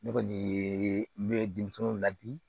Ne kɔni ye ne denmisɛnw ladi